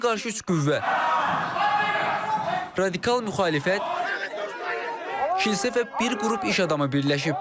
Ona qarşı üç qüvvə radikal müxalifət, kilsə və bir qrup iş adamı birləşib.